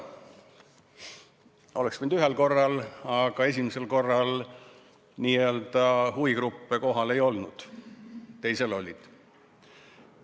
Oleks võinud toimuda ühel korral, aga esimesel korral n-ö huvigruppe kohal ei olnud, teisel olid.